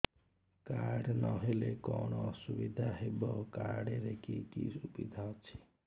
card ନହେଲେ କଣ ଅସୁବିଧା ହେବ କାର୍ଡ ରେ କି କି ସୁବିଧା ଅଛି